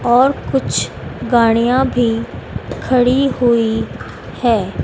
और कुछ गाड़ियां भी खड़ी हुई है।